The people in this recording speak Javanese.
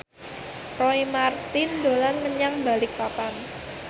Roy Marten dolan menyang Balikpapan